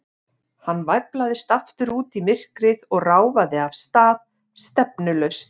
Hann væflaðist aftur út í myrkrið og ráfaði af stað, stefnulaust.